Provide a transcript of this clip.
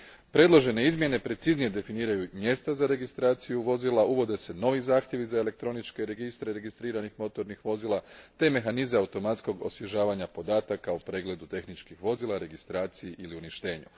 Predložene izmjene preciznije definiraju mjesta za registraciju vozila, uvode se novi zahtjevi za elektroničke registre registriranih motornih vozila te mehanizam automatskog osvježavanja podataka u pregledu tehničkih vozila, registraciji ili uništenju.